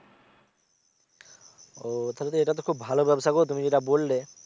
ও তাহলে তো এটা তো খুব ভালো ব্যাবসা গো তুমি যেটা বললে